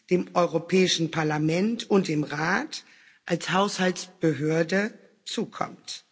dem Europäischen Parlament und dem Rat als Haushaltsbehörde, zukommt.